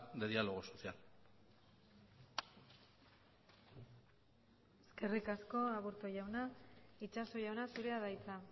de diálogo social eskerrik asko aburto jauna itxaso jauna zurea da hitza